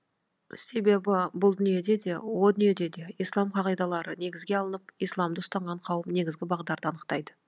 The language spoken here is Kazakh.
себебі бұл дүниеде де о дүниеде де ислам қағидалары негізге алынып исламды ұстанған қауым негізгі бағдарды анықтайды